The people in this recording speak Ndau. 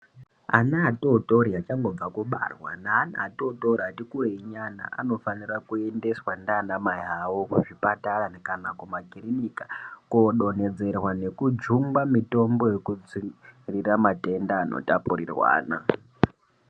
Ana atotori achangobva kubarwa neana atotori atikurei nyana anofanira kuendeswa nana mai awo kuzvipatara kana kumakiriniki kodonhedzerwa nekujungwa mitombo yematenda ano tapurirwana.